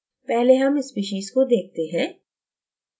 पहले हम स्पीशीज़ को देखते हैं